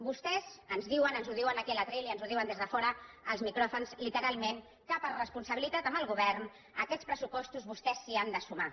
vostès ens diuen ens ho diuen aquí al faristol i ens ho diuen des de fora els micròfons literalment que per responsabilitat amb el govern a aquests pressupostos vostès s’hi han de sumar